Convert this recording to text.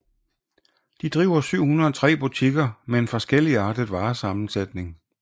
De driver 703 butikker med en forskelligartet varesammensætning